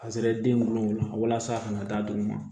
A sera den wolola walasa a kana da dugu ma